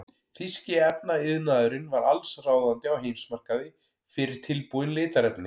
Þýski efnaiðnaðurinn var allsráðandi á heimsmarkaði fyrir tilbúin litarefni.